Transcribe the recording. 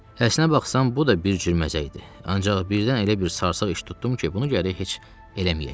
Əslinə baxsan bu da bir cür məzə idi, ancaq birdən elə bir sarsaq iş tutdum ki, bunu gərək heç eləməyəydim.